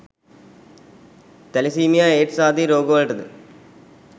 thalassemia AIDS ආදී රෝගවලටද